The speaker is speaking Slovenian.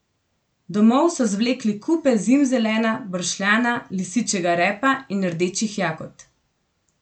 Domov so zvlekli kupe zimzelena, bršljana, lisičjega repa in rdečih jagod.